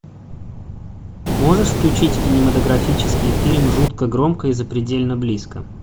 можешь включить кинематографический фильм жутко громко и запредельно близко